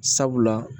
Sabula